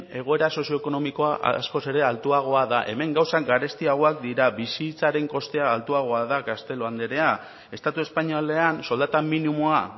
egoera sozio ekonomikoa askoz ere altuagoa da hemen gauzak garestiagoak dira bizitzaren kostea altuagoa da castelo anderea estatu espainolean soldata minimoa